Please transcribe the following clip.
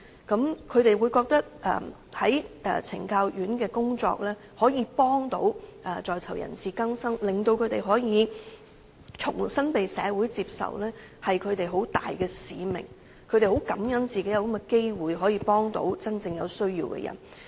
她們認為在懲教院所的工作可以幫助在囚人士更生，令他們可以重新被社會接受是她們很大的使命，她們很感恩自己有這種機會可以幫助真正有需要的人。